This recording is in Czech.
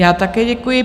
Já také děkuji.